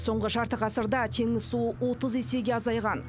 соңғы жарты ғасырда теңіз суы отыз есеге азайған